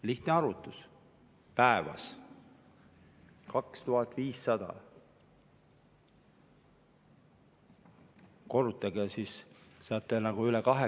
Lihtne arvutus: päevas 2500.